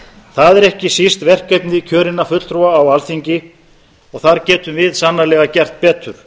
það er ekki síst verkefni kjörinna fulltrúa á alþingi og þar getum við sannarlega gert betur